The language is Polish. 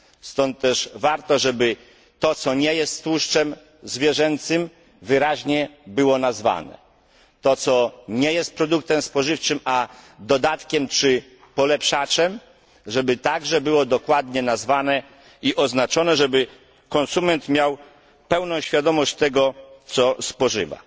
Stąd też warto, aby to, co nie jest tłuszczem zwierzęcym, było wyraźnie nazwane, to, co nie jest produktem spożywczym tylko dodatkiem czy polepszaczem, było dokładnie nazwane i oznaczone, tak aby konsument miał pełną świadomość tego, co spożywa.